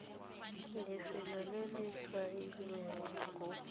lefelo le le tshwailweng rro